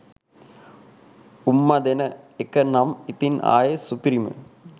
උම්මා දෙන එක නම් ඉතින් ආයේ සුපිරිම